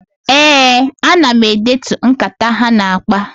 Ee, ana m edetu nkata ha na-akpa.